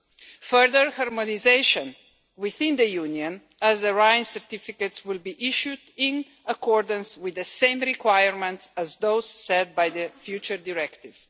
and further harmonisation within the Union, as the Rhine certificates will be issued in accordance with the same requirements as those set by the future directive.